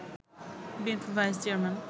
বিএনপির vice chairman